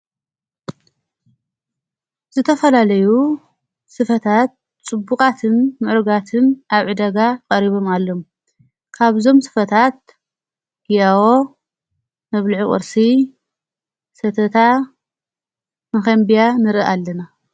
ዝተፈላለዩ ሥፈታት ጽቡቓትን ምዕርጋትን ኣብ ዕ ደጋ ቐሪቦም ኣሎም ካብዞም ስፈታት ኢያዎ ነብልዕ ቊርሲ ሰተታ ምኸንብያ ንርኢ ኣለና።